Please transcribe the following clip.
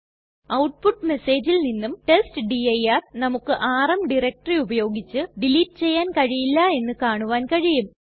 output മെസ്സേജിൽ നിന്നും ടെസ്റ്റ്ഡിർ നമുക്ക് ആർഎം ഡയറക്ടറി ഉപയോഗിച്ച് ഡിലീറ്റ് ചെയ്യാൻ കഴിയില്ല എന്ന് കാണുവാൻ കഴിയും